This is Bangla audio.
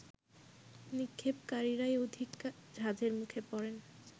নিক্ষেপকারীরাই অধিক ঝাঁজের মুখে পড়েন